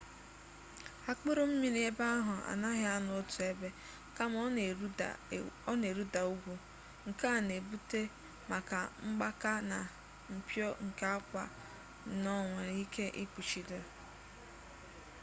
akpụrụ mmiri ebe ahụ anaghị anọ otu ebe kama ọ na-eruda ugwu nke a na-ebute maka mgbaka na mpio nke akwa sno nwere ike ikpuchido